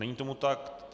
Není tomu tak.